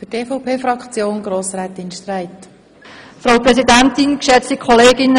Die EVP-Fraktion wird Punkt 1 der Motion zustimmen.